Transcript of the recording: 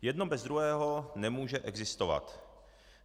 Jedno bez druhého nemůže existovat.